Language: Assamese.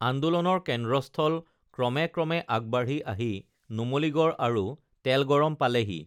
আন্দোলনৰ কেন্দ্ৰস্থল ক্ৰমে ক্ৰমে আগবাঢ়ি আহি নুমলীগড় আৰু তেলগৰম পালেহি